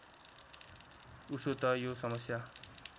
उसो त यो समस्या